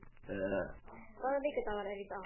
Steina, hvaða vikudagur er í dag?